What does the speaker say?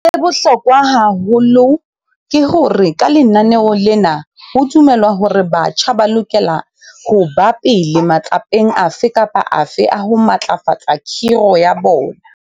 Sa bohlokwa haholo ke hore ka lenaneo lena ho dumelwa hore batjha ba lokela ho ba pele matsapeng afe kapa afe a ho matlafatsa khiro ya bona.